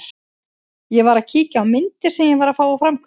Ég var að kíkja á myndir sem ég var að fá úr framköllun.